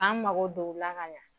K'an mago don o la ka yan.